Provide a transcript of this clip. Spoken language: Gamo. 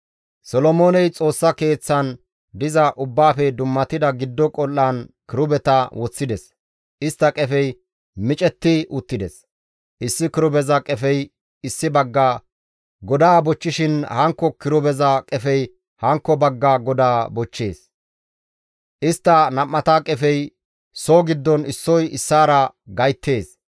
Solomooney Xoossa Keeththan diza Ubbaafe dummatida giddo qol7aan kirubeta woththides; istta qefey micetti uttides; issi kirubeza qefey issi bagga godaa bochchishin hankko kirubeza qefey hankko bagga godaa bochchees; istta nam7ata qefey soo giddon issoy issaara gayttees.